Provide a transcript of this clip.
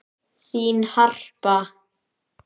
Þín, Harpa.